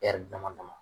ɛri dama dama